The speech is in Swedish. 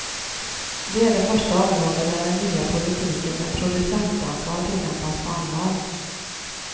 Det är det första område där den nya politiken med producentansvar tillämpas på allvar.